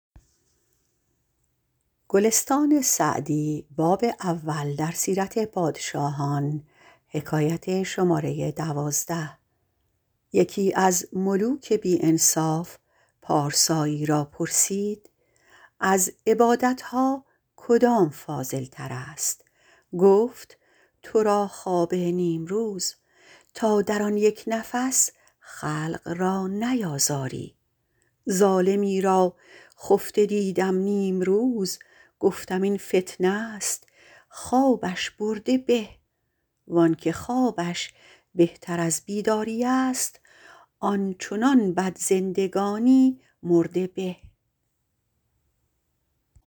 یکی از ملوک بی انصاف پارسایی را پرسید از عبادت ها کدام فاضل تر است گفت تو را خواب نیمروز تا در آن یک نفس خلق را نیازاری ظالمی را خفته دیدم نیمروز گفتم این فتنه است خوابش برده به وآنکه خوابش بهتر از بیداری است آن چنان بد زندگانی مرده به